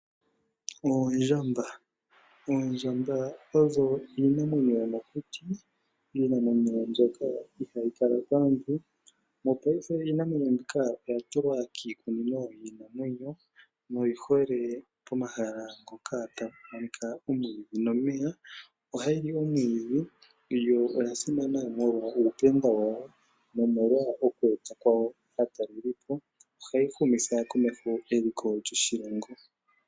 Oondjamba, oondjamba odho iinamwenyo yo mokuti, iinamwenyo mbyoka iihayi kala paantu. Mopaife iinamwenyo mbika oya tulwa kiikunino yiinamwenyo noyi hole komahala ngoka haku monika omwiidhi nomeya, oha yi li omwiidhi yo oya simana mwolwa uuthemba wawo nomolwa okweeta po aatalelipo. Ohadhi humitha komeho eliko lyoshilongo.